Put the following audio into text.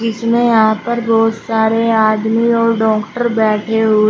इसमें यहां पर बहुत सारे आदमी और डॉक्टर बैठे हुए--